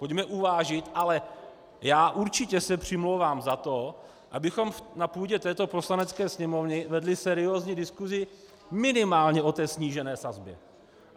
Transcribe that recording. Pojďme uvážit - ale já určitě se přimlouvám za to, abychom na půdě této Poslanecké sněmovny vedli seriózní diskusi minimálně o té snížené sazbě.